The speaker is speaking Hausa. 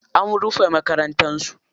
An rufe makarantar su.